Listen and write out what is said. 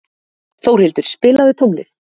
Þórhildur, spilaðu tónlist.